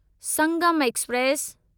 Sangam express